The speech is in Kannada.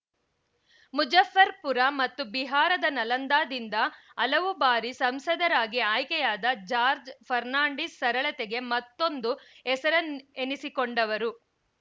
ಮುಜಫ್ಫರ್‌ಪುರ ಮತ್ತು ಬಿಹಾರದ ನಲಂದಾದಿಂದ ಹಲವು ಬಾರಿ ಸಂಸದರಾಗಿ ಆಯ್ಕೆಯಾದ ಜಾರ್ಜ್ ಫರ್ನಾಂಡಿಸ್‌ ಸರಳತೆಗೆ ಮತ್ತೊಂದು ಹೆಸರಿನ್ನೆ ಎಸಿಕೊಂಡವರು